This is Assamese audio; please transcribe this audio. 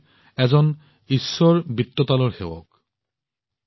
সকলোৱে ভক্ত ঈশ্বৰ বিত্তলৰ সেৱক